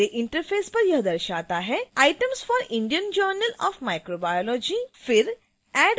मेरे इंटरफैस पर यह दर्शाता है: items for indian journal of microbiology